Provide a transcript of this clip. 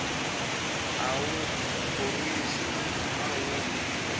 a wu khorwisi naswona wu